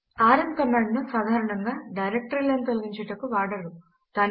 RM command ను సాధారణముగా డైరెక్టరీలను తొలగించుటకు వాడరు